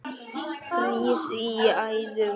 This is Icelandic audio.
frýs í æðum blóð